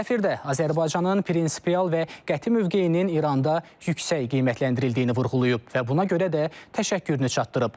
Səfir də Azərbaycanın prinsipial və qəti mövqeyinin İranda yüksək qiymətləndirildiyini vurğulayıb və buna görə də təşəkkürünü çatdırıb.